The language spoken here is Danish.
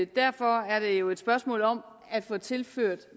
derfor er det jo et spørgsmål om at få tilført